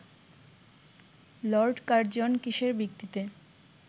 Lord Curzon কিসের ভিত্তিতে